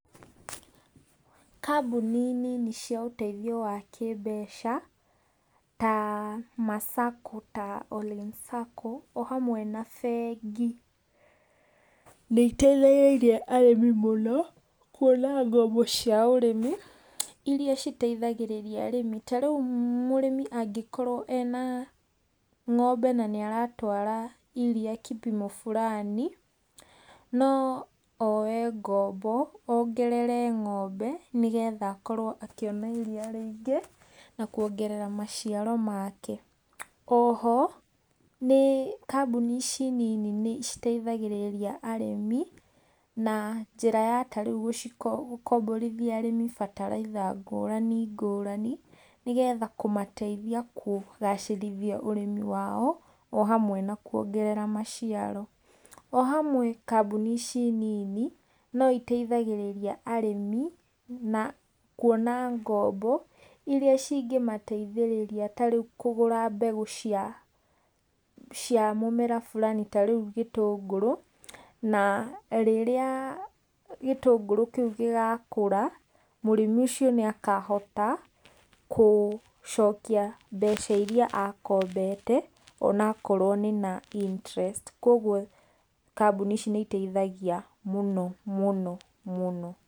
Kambũni nini cia ũteithio wa kĩmbeca, ta ma Sacco ta ollin sacco o hamwe na bengi, nĩiteithirĩirie arĩmi mũno ,kuona ngombo cia ũrĩmi, iria citeithagĩriria arĩmi ta riũ mũrĩmĩ angĩkorwo ena ng'ombe na nĩaratwara iria kipimo fulani no oe ngombo ongerere ng'ombe, nĩgetha akorwo akĩona iria rĩingĩ, na kuongerera maciaro make. Oho nĩ kambũni ici nini nĩciteithagĩrĩria arĩmi, na njĩra ya ta rĩu gũci gũkombithia arĩmi bataraitha ngũrani ngũrani, nĩgetha kũmateithia ,kũgacĩrithia ũrimi wao ,o hamwe na kuongerera maciaro. O hamwe kambũni ici nini no iteithagĩrĩria arĩmĩ na kuona ngombo, iria cingĩmateithĩrĩria ta riũ ta rĩu kũgũra mbegu cia mũmera fulani ta rĩu gĩtũngũrũ na rĩrĩa gĩtũngũrũ kĩũ gĩgakũra ,mũrĩmi ũcio nĩakahota kũcokia mbeca iria akombete, onakorwo nĩ na interest koguo kambũni ici nĩ iteithagia mũno mũno mũno.